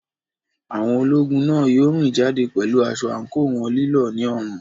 Àwọn ológun náà yóò rìn jáde pẹ̀lú aṣọ àǹkóò wọn lílọ̀ ní ọrùn.